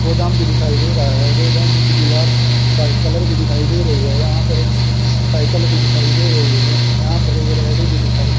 गोदाम भी दिखाई दे रहा है गोदाम की दीवार व्हाइट कलर की दिखाई दे रही है यहां पर एक साइकल भी दिखाई दे रही है यहां पर एक रेहड़ी भी दिखाई --